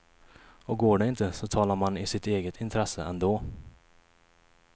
Och går det inte så talar man i sitt eget intresse ändå.